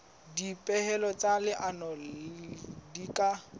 dipehelo tsa leano di ka